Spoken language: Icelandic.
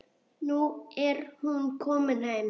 Nú er hún komin heim.